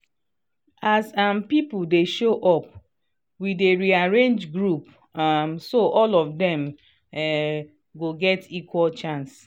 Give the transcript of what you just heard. as um people dey show up we dey rearrange group um so all of them um go get equal chance